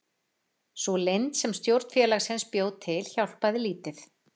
Sú leynd sem stjórn félagsins bjó til hjálpaði lítið.